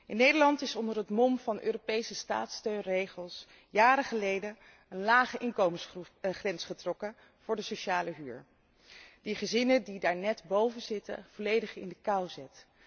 In Nederland is onder het mom van Europese staatssteunregels jaren geleden een lage inkomensgrens getrokken voor de sociale huur, die gezinnen die daarnet boven zitten volledig in de kou zet.